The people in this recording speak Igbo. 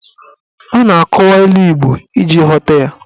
A na-akọwa ilu Igbo iji ghọta ya.